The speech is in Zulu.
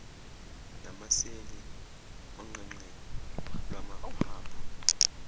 namaseli onqenqema lwamaphaphu